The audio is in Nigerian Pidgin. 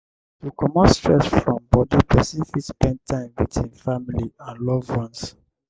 to comot stress from body person fit spend time with im family and loved ones